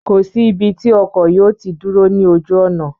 Kò sí ibi tí ọkọ̀ yóò tí dúró ní ojú ọ̀nà